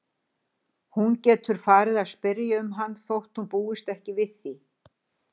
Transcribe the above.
Hún geti farið að spyrja um hann þótt hún búist ekki við því.